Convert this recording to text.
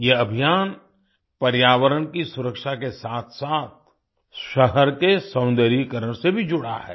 यह अभियान पर्यावरण की सुरक्षा के साथसाथ शहर के सौंदर्यीकरण से भी जुड़ा है